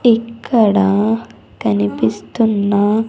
ఇక్కడ కనిపిస్తున్న.